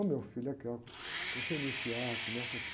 Ô, meu filho, aqui, ó, para você iniciar, começa aqui.